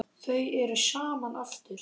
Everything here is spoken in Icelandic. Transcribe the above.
Þau eru saman aftur.